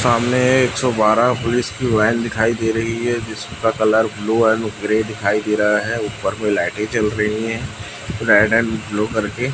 सामने एक सौ बारह पुलिस की वैन दिखाई दे रही है जिसका कलर ब्लू एंड ग्रे दिखाई दे रहा है ऊपर में लाइटें जल रही हैं रेड एंड ब्लू करके।